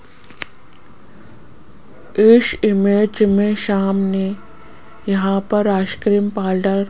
इस इमेज में सामने यहां पर आइसक्रीम पार्लर --